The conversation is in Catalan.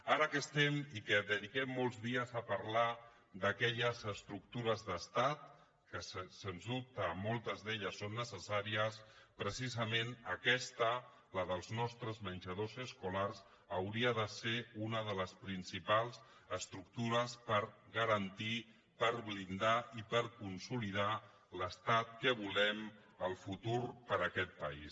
ara que estem i dediquem molts dies a parlar d’aquelles estructures d’estat que sens dubte moltes d’elles són necessàries precisament aquesta la dels nostres menjadors escolars hauria de ser una de les principals estructures per garantir per blindar i per consolidar l’estat que volem el futur per a aquest país